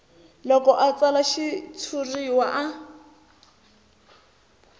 loko a tsala xitshuriwa a